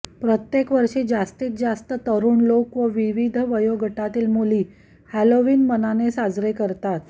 प्रत्येक वर्षी जास्तीत जास्त तरुण लोक आणि विविध वयोगटातील मुली हेलोवीन मनाने साजरे करतात